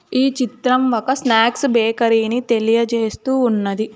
ఈ చిత్రం ఒక స్నాక్స్ బేకరీ ని తెలియజేస్తూ ఉన్నది.